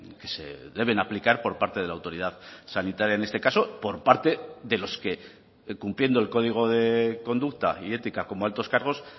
que se deben aplicar por parte de la autoridad sanitaria en este caso por parte de los que cumpliendo el código de conducta y ética como altos cargos